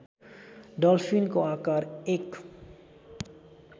डल्फिनको आकार १